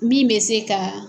Min bɛ se ka